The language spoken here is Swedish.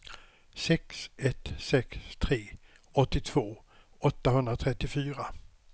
sex ett sex tre åttiotvå åttahundratrettiofyra